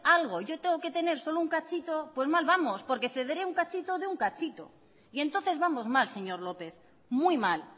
algo yo tengo que tener solo un cachito pues mal vamos porque cederé un cachito de un cachito y entonces vamos mal señor lópez muy mal